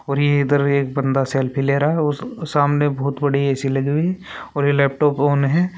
और ये इधर एक बंदा सेल्फी ले रहा है और सामने बहुत बड़ी ऐसी लगी हुई है और ये लैपटॉप ऑन है।